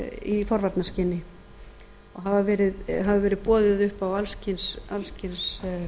í forvarnaskyni og hefur verið boðið upp á alls kyns